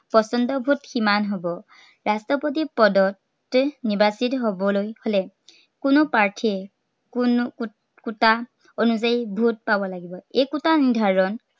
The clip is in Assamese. পচন্দৰ vote সিমান হ'ব। ৰাষ্ট্ৰপতিৰ পদত প্ৰাৰ্থী নিৰ্বাচিত হ'বলৈ হলে, কোনো প্ৰাৰ্থীয়ে কোনো kota অনুযায়ী vote পাব লাগিব। এই kota নিৰ্ধাৰন